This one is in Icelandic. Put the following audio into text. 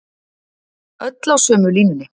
Öll á sömu línunni